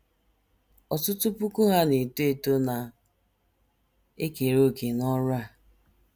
Ọtụtụ puku Ha na - eto eto na - ekere òkè n’ọrụ a.